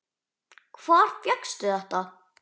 Hvar fékkstu þetta?